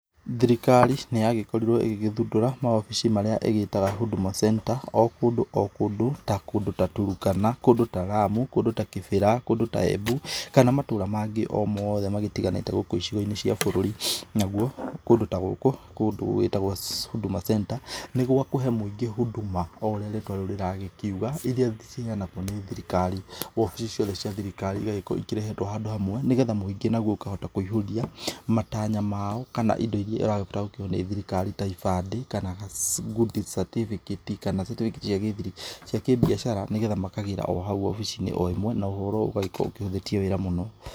Thirikari nĩ yagĩkorirwo ĩgĩgĩthundũra mawobici marĩa ĩgĩtaga Huduma Center, o kũndũ o kũndũ ta kũndũ ta Turukana, kũndũ ta Lamu, kũndũ ta Kĩbĩra, kũndũ ta Embu kana o matũra o mangĩ o mothe marĩa magĩtiganĩte gũkũ icigoinĩ cia bũrũri. Naguo kũndũ ta gũkũ nĩ kũndũ gũgĩtagwo Huduma Center nĩ gwakũhe mũingĩ huduma ũtaũria rĩtwa rĩu rĩragĩkiuga, iria ciheyanagwo nĩ thirikari. Wobici ciothe cia thirikari cigagĩkorwo cirehetwo handũ hamwe nĩgetha mũingĩ o naguo ũkahota gũkĩihũria matanya mao kana indo iria ĩrabatara gũkĩheo nĩ thirikari ta ibandĩ kana ngundi catĩbĩkĩti, kana catĩbĩkĩti cia kĩbiacara, nĩgetha makagĩra o hau wobicinĩ o ĩmwe na ũhoro ũgagĩkorwo ũhũthĩtie wĩra mũno.